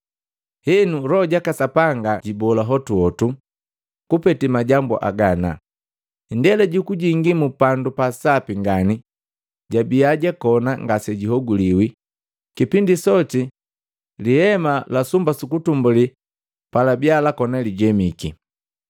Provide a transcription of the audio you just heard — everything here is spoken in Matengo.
Henu Loho jaka Sapanga jubola hotuhotu kupete majambu haga ana, indela jukujingi mu Pandu pa Sapi ngani jabiya bakoni ngasejihoguliwi kipindi soti sumba su utumbuli lakoni lijemiki.